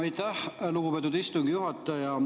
Aitäh, lugupeetud istungi juhataja!